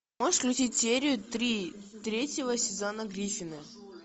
можешь включить серию три третьего сезона гриффины